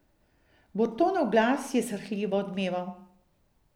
Burtonov glas je srhljivo odmeval.